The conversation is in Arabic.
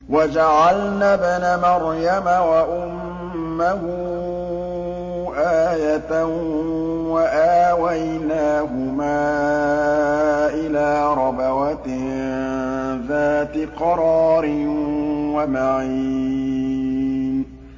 وَجَعَلْنَا ابْنَ مَرْيَمَ وَأُمَّهُ آيَةً وَآوَيْنَاهُمَا إِلَىٰ رَبْوَةٍ ذَاتِ قَرَارٍ وَمَعِينٍ